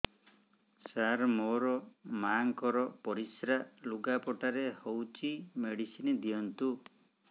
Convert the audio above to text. ସାର ମୋର ମାଆଙ୍କର ପରିସ୍ରା ଲୁଗାପଟା ରେ ହଉଚି ମେଡିସିନ ଦିଅନ୍ତୁ